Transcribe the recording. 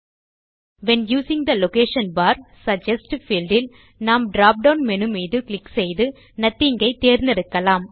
when using the location for suggest field இல் நாம் drop down menu மீது click செய்து நாத்திங் ஐ செலக்ட் செய்யலாம்